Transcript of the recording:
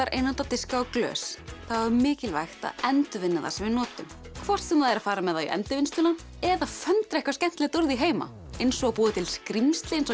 einnota diska og glös þá er mikilvægt að endurvinna það sem við notum hvort sem það er að fara með það í Endurvinnsluna eða föndrað eitthvað skemmtilegt úr því heima eins og að búa til skrímsli eins og